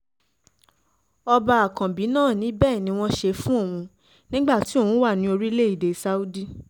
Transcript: ọba àkànbí náà ni bẹ́ẹ̀ ni wọ́n ṣe fún òun nígbà tí òun wà ní orílẹ̀‐èdè saudi